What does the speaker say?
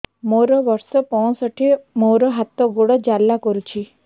ମୋର ବର୍ଷ ପଞ୍ଚଷଠି ମୋର ହାତ ଗୋଡ଼ ଜାଲା କରୁଛି